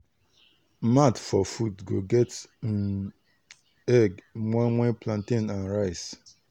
mat for food go get um egg moimoi plantain and rice.